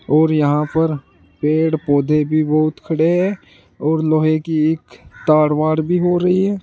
और यहां पर पेड़ पौधे भी बहुत खड़े हैं और लोहे की एक तार वार भी हो रही है।